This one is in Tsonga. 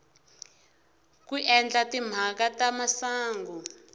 ku endla timhaka ta masangu